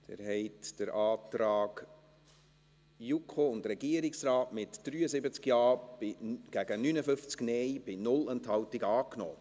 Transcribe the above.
Sie haben den Antrag JuKo und Regierungsrat angenommen, mit 73 Ja- gegen 59 NeinStimmen bei 0 Enthaltungen.